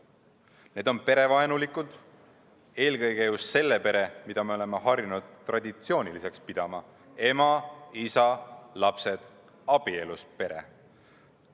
Need on perevaenulikud, eelkõige just selle pere suhtes vaenulikud, mida me oleme harjunud traditsiooniliseks pidama: ema, isa, lapsed, abielus pere.